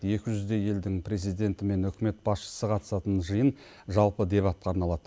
екі жүздей елдің президенті мен үкімет басшысы қатысатын жиын жалпы дебатқа арналады